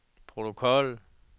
protokol